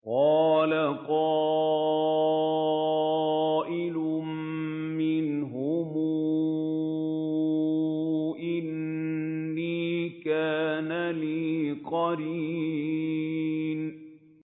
قَالَ قَائِلٌ مِّنْهُمْ إِنِّي كَانَ لِي قَرِينٌ